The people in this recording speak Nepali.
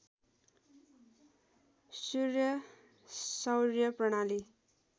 सूर्य सौर्य प्रणाली